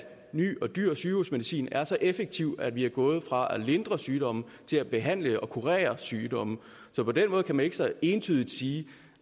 ny og dyr sygehusmedicin er så effektiv at vi er gået fra at lindre sygdomme til at behandle og kurere sygdomme så på den måde kan man ikke så entydigt sige